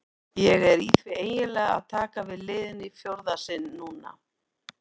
Ég er því eiginlega að taka við liðinu í fjórða sinn núna.